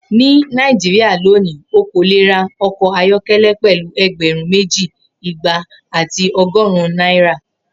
Ni Naijiria loni o ko le ra ọkọ ayọkẹlẹ pẹlu ẹgbẹrun meji, igba ati ọgọrun naira.